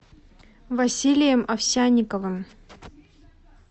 василием овсянниковым